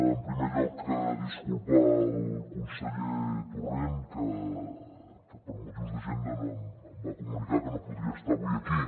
en primer lloc disculpar el conseller torrent que per motius d’agenda em va comunicar que no podria estar avui aquí